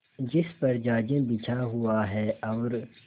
जिस पर जाजिम बिछा हुआ है और